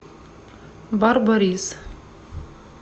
барборис